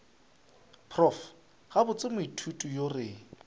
prof gabotse moithuti yo re